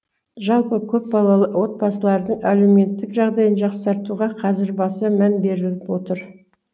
жалпы көпбалалы отбасылардың әлеуметтік жағдайын жақсартуға қазір баса мән беріліп отыр